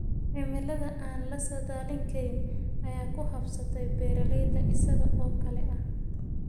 Cimilada aan la saadaalin karin ayaa ku habsatay beeralayda isaga oo kale ah.